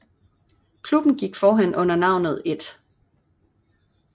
Klubben gik forhen under navnet 1